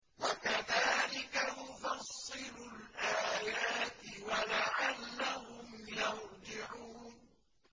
وَكَذَٰلِكَ نُفَصِّلُ الْآيَاتِ وَلَعَلَّهُمْ يَرْجِعُونَ